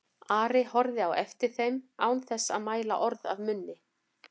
Ari horfði á eftir þeim án þess að mæla orð af munni.